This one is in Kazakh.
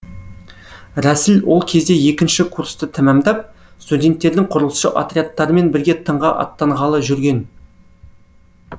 рәсіл ол кезде екінші курсты тәмамдап студенттердің құрылысшы отрядтарымен бірге тыңға аттанғалы жүрген